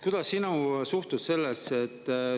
Kuidas sina suhtud sellesse?